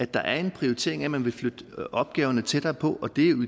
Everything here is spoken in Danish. der er en prioritering af at man vil flytte opgaverne tættere på og det er jo